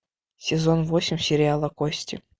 сезон восемь сериала кости